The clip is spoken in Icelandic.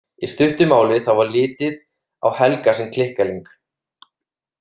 Í stuttu máli þá var litið á Helga sem klikkaling.